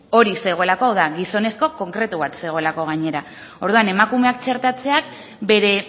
hori zegoelako hau da gizonezko konkretu bat zegoelako gainera orduan emakumeak txertatzean bere